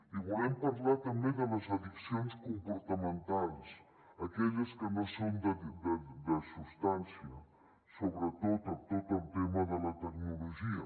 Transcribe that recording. i volem parlar també de les addiccions comportamentals aquelles que no són de substància sobretot tot el tema de la tecnologia